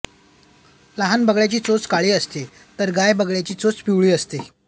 लहान बगळ्याची चोच काळी असते तर गाय बगळ्याची चोच पिवळी असते